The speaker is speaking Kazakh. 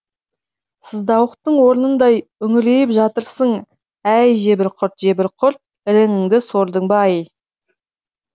сыздауықтың орнындай үңірейіп жатырсың әй жебір құрт жебір құрт іріңіңді сордың ба ай